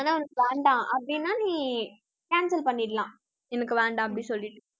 ஆனா, உனக்கு வேண்டாம் அப்படின்னா நீ cancel பண்ணிடலாம். எனக்கு வேண்டாம் அப்படி சொல்லிட்டு.